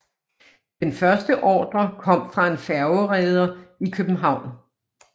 Den første ordre kom fra en færgereder i København